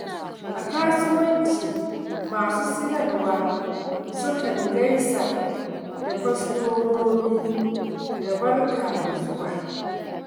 A kasuwanci, masu siyarwa sukan gaisa da kwastomomi da “Barka da zuwa.”